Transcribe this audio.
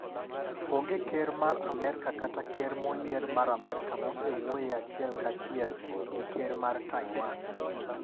Onge ker mar Amerka kata ker moyier mar Amerka mosewuoye achiel ka chiel gi ker mar Taiwan.